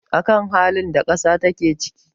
a kan halin da ƙasa take ciki